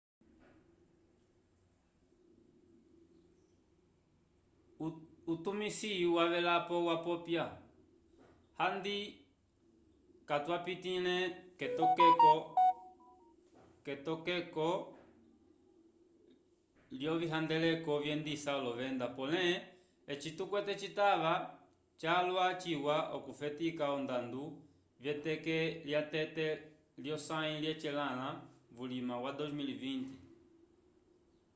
utumisi wavelapo wapopya handi katwapitiĩle k'etokeko lyovihandeleko vyendisa olovenda pole eci tukwete citava calwa ciwa okufetika ondando v'eteke lya tete lyosãyi lyecelãla vuliwa wa 2020